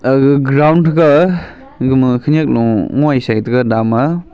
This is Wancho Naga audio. aga ground thranga egama khenyak lo ngoi shetega dama.